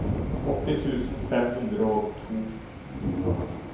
åtti tusen fem hundre og to